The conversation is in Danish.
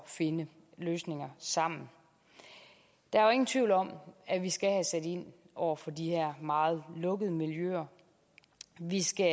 finde løsninger sammen der er jo ingen tvivl om at vi skal have sat ind over for de her meget lukkede miljøer vi skal